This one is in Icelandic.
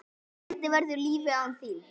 Hvernig verður lífið án þín?